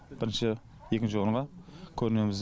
бірінші екінші орынға көрінеміз